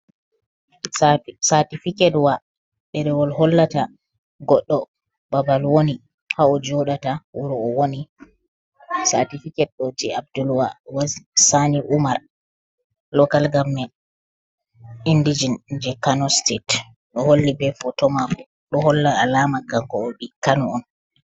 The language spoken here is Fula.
Satifi'ket wa ɗerewol hollata goɗɗo ɓaɓal woni ha o joɗata wuro o woni, satifiket ɗo je abdulwaris sani umar lokal gament inɗijen je Kano stat ɗo holli ɓe photo mamo ɗo holla alama kanko o ɓi kan on.